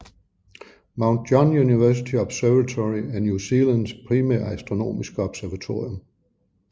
Mount John University Observatory er New Zealands primære astronomiske observatorium